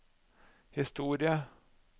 historie